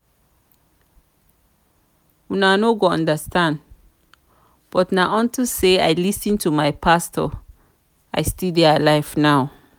una no go understand but na unto say i lis ten to my pastor i still dey alive now